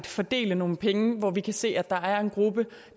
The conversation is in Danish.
fordele nogle penge når vi kan se at der er en gruppe